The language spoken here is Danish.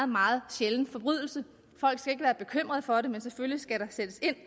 meget sjælden forbrydelse folk skal ikke være bekymrede for det men selvfølgelig skal der sættes ind